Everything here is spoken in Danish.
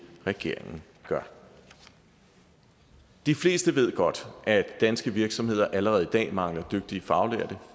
regeringen gør de fleste ved godt at danske virksomheder allerede i dag mangler dygtige faglærte